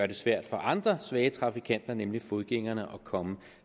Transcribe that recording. det svært for andre svage trafikanter nemlig fodgængerne at komme